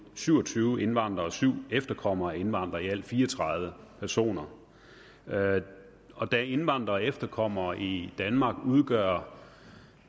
syv og tyve indvandrere og syv efterkommere af indvandrere i alt fire og tredive personer og da indvandrere og efterkommere i danmark udgør